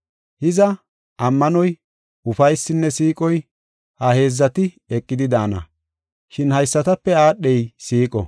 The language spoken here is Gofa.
Hiza, ammanoy, ufaysinne siiqoy, ha heedzati eqidi daana. Shin haysatape aadhey siiqo.